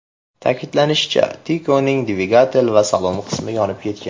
Ta’kidlanishicha, Tico‘ning dvigatel va salon qismi yonib ketgan.